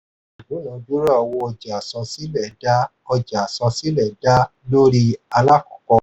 ìdúnadúrà owó ọjà àsansílẹ̀ dá ọjà àsansílẹ̀ dá lórí alákọ̀ọ́kọ̀.